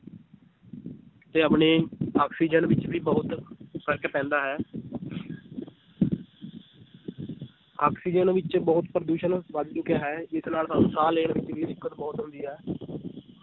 ਤੇ ਆਪਣੇ ਆਕਸੀਜਨ ਵਿੱਚ ਵੀ ਬਹੁਤ ਫ਼ਰਕ ਪੈਂਦਾ ਹੈ ਆਕਸੀਜਨ ਵਿੱਚ ਬਹੁਤ ਪ੍ਰਦੂਸ਼ਣ ਵੱਧ ਚੁੱਕਿਆ ਹੈ, ਜਿਸ ਨਾਲ ਸਾਨੂੰ ਸਾਹ ਲੈਣ ਵਿੱਚ ਵੀ ਦਿੱਕਤ ਬਹੁਤ ਆਉਂਦੀ ਹੈ